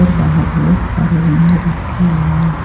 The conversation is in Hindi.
और बाहर बहोत सारे गमले रखे हुए हैं।